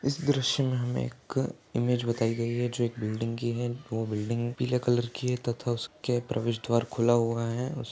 इस दृश्य मे हमे एक इमेज बताई गई है जो एक बिल्डिंग की है वो बिल्डिंग पीले कलर की है तथा उसके प्रवेश द्वार खुला हुआ है।